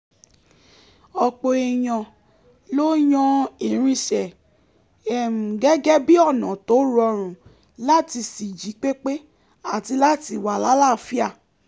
ọ̀pọ̀ èèyàn ló yan ìrìnsẹ̀ gẹ́gẹ́ bíi ọ̀nà tó rọrùn láti ṣì jípépé àti láti wà láàáfíà